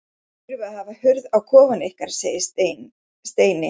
Þið þurfið að hafa hurð á kofanum ykkar segir Steini.